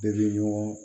Bɛɛ bɛ ɲɔgɔn